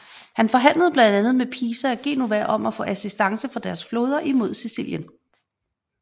Han forhandlede blandt andet med Pisa og Genova om at få assistance fra deres flåder imod Sicilien